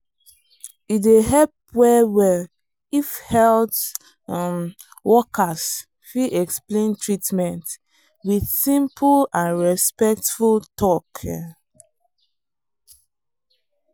e dey help well well if health um workers fit explain treatment with simple and respectful talk. um